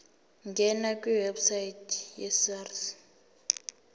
ngena kwiwebsite yesars